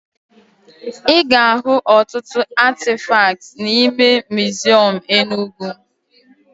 Ị ga-ahụ ọtụtụ atịfakt n'ime miziọm Enugwu